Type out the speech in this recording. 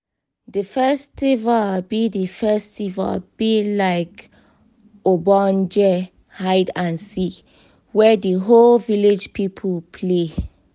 the festival be the festival be like ogbonge hide and seek wey di whole village people play